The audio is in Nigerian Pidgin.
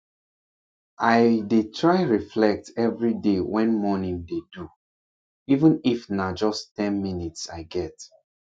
i dey try reflect every day wen morning dey do even if na just ten minutes i get